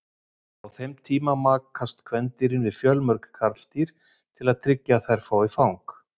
Á þeim tíma makast kvendýrin við fjölmörg karldýr til að tryggja að þær fái fang.